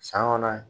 San kɔnɔ